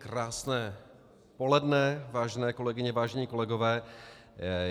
Krásné poledne, vážené kolegyně, vážení kolegové.